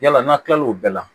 Yala n'a tilal'o bɛɛ la